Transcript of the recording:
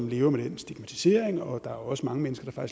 lever med den stigmatisering og der er faktisk også mange mennesker der